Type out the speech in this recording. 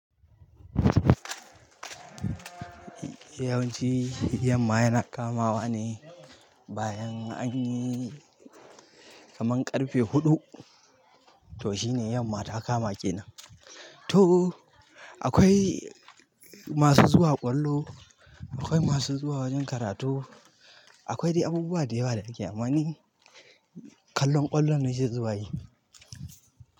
Yawanci, yamma yana kama wa ne bayan anyi kaman ƙarfe huɗu to shine yamma ta kama kenan. To akwai masu zuwa ƙwallo, akwai masu zuwa wajen karatu, akwai dai abubuwa da yawa da ake ama ni kallon ƙwallo na je zuwa yi.